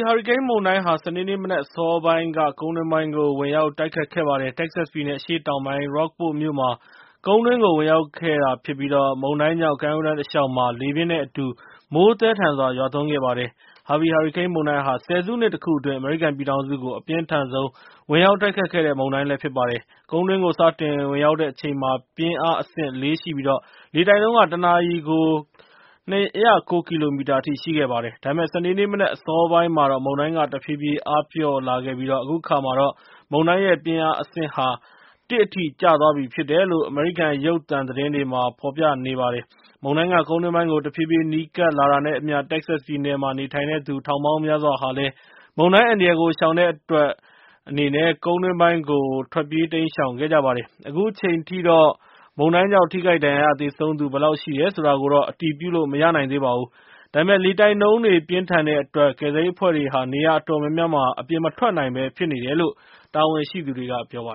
ဟာရီကိန်းမုန်တိုင်းဟာ ၊ စနေနေ့မနက်အစောပိုင်းက ကုန်းတွင်းပိုင်းကို ဝင်ရောက်တိုက်ခတ်ခဲ့ပါတယ်။ Texas ပြည်နယ် အရှေ့တောင်ပိုင်းက Rockport မြို့မှာ ကုန်းတွင်းကို ဝင်ရောက်ခဲ့ပြိး၊ မုန်တိုင်းကြောင့် ကမ်းရိုးတန်းတလျှောက်မှာ လေပြင်းနဲ့ အတူ မိုးသည်းထန်စွာ ရွာသွန်းခဲ့ပါတယ်။ ဟာဗီ ဟာရီကိန်းမုန်တိုင်းဟာ ဆယ်စုနှစ်တခုအတွင်း အမေရိကန်ပြည်ထောင်စုကို အပြင်းထန်ဆုံးဝင်ရောက်တိုက်ခတ်ခဲ့တဲ့ မုန်တိုင်းဖြစ်ပါတယ်။ ကုန်းတွင်းကို စတင်ဝင်ရောက်တဲ့အချိန်မှာ လေတိုက်နှုန်းက တနာရီကို ၂၀၉ ကီလိုမီတာရှိခဲ့ပါတယ်။ ဒါပေမဲ့ စနေနေ့မနက်အစောပိုင်းမှာတော့ မုန်တိုင်းက တဖြည်းဖြည်း အားပျော့သွားခဲ့ပြီး၊ အခုအခါမှာတော့ မုန်တိုင်းရဲ့ပြင်းအားအဆင့်ကို ၁ အထိ လျော့ကျသွားပြီဖြစ်တယ်လို့ အမေရိကန်ရုပ်သံသတင်းမှာ ဖော်ပြနေကြပါတယ်။ မုန်တိုင်းက ကုန်းတွင်းပိုင်းကို တဖြည်းဖြည်း နီးကပ်လာတာနဲ့ အမျှ၊ တက္ကဆက်ပြည်နယ်မှာ နေထိုင်သူ ထောင်ပေါင်းများစွာဟာလည်း မုန်တိုင်းအန္တရာယ်ကို ရှောင်တဲ့အနေနဲ့ ကုန်းတွင်းပိုင်းကို ထွက်ပြေးတိမ်းရှောင်ခဲ့ကြပါတယ်။ အခုချိန်ထိတော့ မုန်တိုင်းကြောင်း ထိခိုက်ဒဏ်ရာရသေဆုံးသူ ဘယ်လောက်ရှိတယ်ဆိုတာကို အတည်ပြုလိုမရနိုင်သေးပါဘူး။ ဒါပေမဲ့ လေတိုက်နှုန်းပြင်းထန်တဲ့အတွက် ကယ်ဆယ်ရေးအဖွဲ့တွေဟာ နေရာအတော်များများမှာ အပြင်မထွက်နိုင်ဘဲဖြစ်နေတယ်လို့ တာဝန်ရှိသူတွေက ပြောပါ